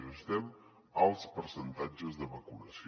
necessitem alts percentatges de vacunació